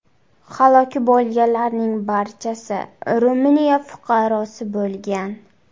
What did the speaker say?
Halok bo‘lganlarning barchasi Ruminiya fuqarosi bo‘lgan.